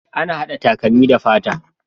Ana hada takalmi da fata